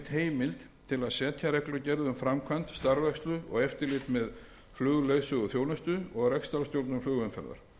heimild til að setja reglugerð um framkvæmd starfrækslu og eftirlit með flugleiðsöguþjónustu og rekstrarstjórnun flugumferðar